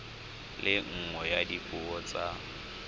le nngwe ya dipuo tsa